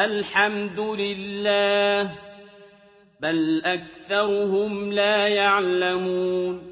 الْحَمْدُ لِلَّهِ ۚ بَلْ أَكْثَرُهُمْ لَا يَعْلَمُونَ